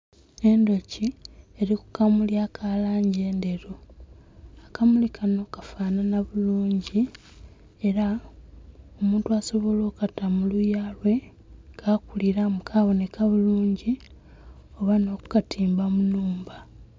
Endhoki eri kukamuli kalanji endheru, akamuli Kano kafanana bulunji era omuntu asobola okata muluyalye kakuliramu kaboneka bulunji oba n'okatimba munhumba